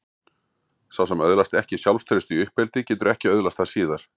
Sá sem öðlast ekki sjálfstraust í uppeldi getur ekki öðlast það síðar.